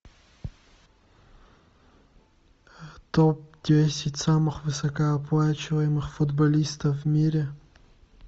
топ десять самых высокооплачиваемых футболистов в мире